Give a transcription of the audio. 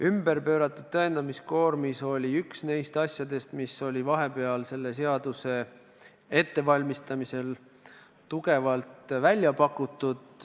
Ümberpööratud tõendamiskoormis oli üks neist asjadest, mida vahepeal selle seaduse ettevalmistamise ajal tugevalt välja pakuti.